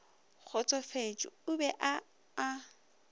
kgotsofetše o be a a